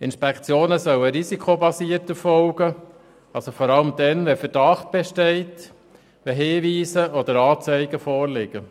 Die Inspektionen sollen risikobasiert erfolgen, also vor allem dann, wenn ein Verdacht besteht, wenn Hinweise oder Anzeigen vorliegen.